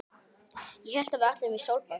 Ég hélt að við ætluðum í sólbað!